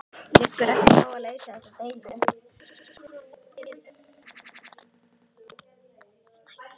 Liggur ekki á að leysa þessa deilu?